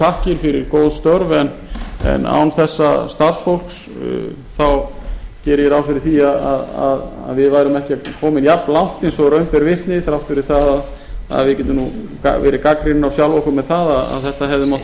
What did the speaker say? þakkir fyrir góð störf en án þessa starfsfólks geri ég ráð fyrir því að við værum ekki komin jafnlangt eins og raun ber vitni þrátt fyrir það að við getum gerð gagnrýnin á sjálf okkur fyrir það að þetta hefði mátt